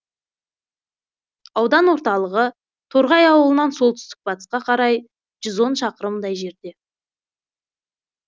аудан орталығы торғай ауылынан солтүстік батысқа қарай жүз он шақырымдай жерде